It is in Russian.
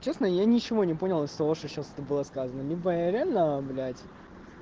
честно я ничего не понял из того что сейчас это было сказано либо я реально блять